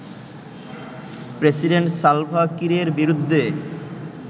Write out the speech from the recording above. president Salva কিরের বিরুদ্ধে